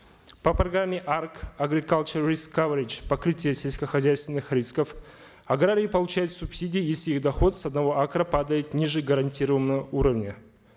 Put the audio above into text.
по программе арк агрикалче риск каверидж покрытие сельскохозяйственных рисков аграрий получает субсидии если их доход с одного акра падает ниже гарантированного уровня